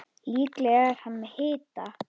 Líklega er hann með hita.